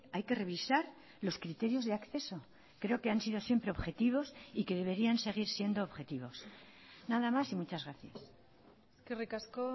hay que revisar los criterios de acceso creo que han sido siempre objetivos y que deberían seguir siendo objetivos nada más y muchas gracias eskerrik asko